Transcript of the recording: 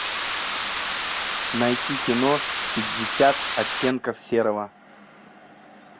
найти кино пятьдесят оттенков серого